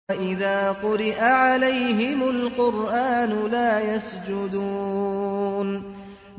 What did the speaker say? وَإِذَا قُرِئَ عَلَيْهِمُ الْقُرْآنُ لَا يَسْجُدُونَ ۩